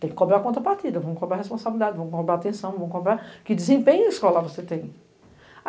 Tem que cobrir a conta partida, vamos cobrar a responsabilidade, vamos cobrar a atenção, vamos cobrar que desempenho escolar você tem.